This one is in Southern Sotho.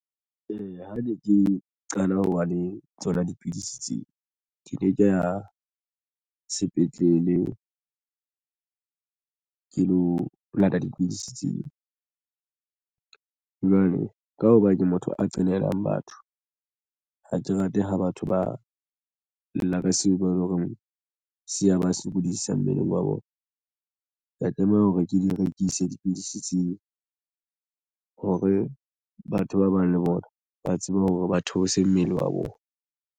Eya, ha ne ke qala ho ba le tsona dipidisi tseo di ne ke ya sepetlele ke lo lata dipidisi tseo jwale ka hoba ke motho a qenehalelang batho ha ke rate ha batho ba lla ka seo ba leng hore se ya ba sokodisa mmeleng wa wa hao bona ka tlameha hore ke di rekise dipidisi tseo hore batho ba bang le bona ba tsebe hore ba theose mmele wa bona.